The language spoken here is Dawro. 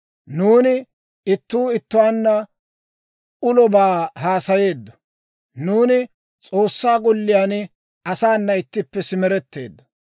Nuuni ittuu ittuwaanna ulobaa haasayeeddo; nuuni S'oossaa golliyaan asaana ittippe simeretteeddo.